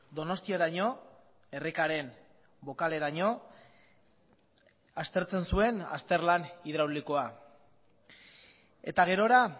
donostiaraino errekaren bokaleraino aztertzen zuen azterlan hidraulikoa eta gerora